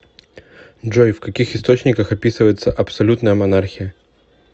джой в каких источниках описывается абсолютная монархия